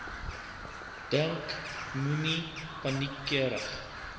dink moenie paniekerig